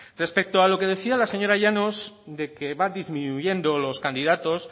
respecto a lo que decía la señora llanos de que va disminuyendo los candidatos